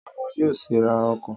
Àwọn yóò sì ra ọkọ̀